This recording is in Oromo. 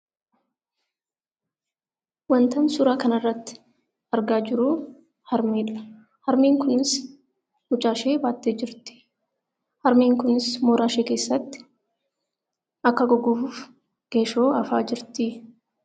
Wanti an suuraa kana irratti argaa jiru harmeedha. Harmeen kunis mucaashee baattee jirti. Harmeen kunis mooraa ishee keessatti akka goggoguuf geeshoo afaa jirti.